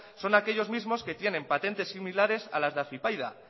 son aquellos mismos que tienen patentes similares a las de afypaida